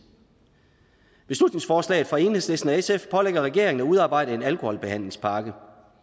beslutningsforslaget fra enhedslisten og sf pålægger regeringen at udarbejde en alkoholbehandlingspakke